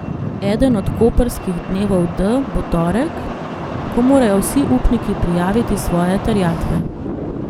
Eden od koprskih dnevov D bo torek, ko morajo vsi upniki prijaviti svoje terjatve.